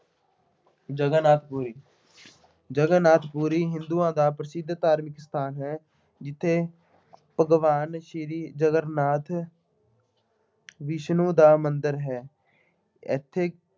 ਜਗਨਨਾਥ-ਪੁਰੀ, ਜਗਨਨਾਥ-ਪੁਰੀ ਹਿੰਦੂਆਂ ਦਾ ਪ੍ਰਸਿੱਧ ਧਾਰਮਿਕ ਸਥਾਨ ਹੈ। ਜਿੱਥੇ ਭਗਵਾਨ ਸ਼੍ਰੀ ਜਗਨਨਾਥ ਵਿਸ਼ਨੂੰ ਦਾ ਮੰਦਿਰ ਹੈ। ਇੱਥੇ